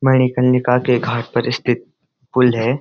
मणिकर्णिका के घाट पर स्थित पुल है।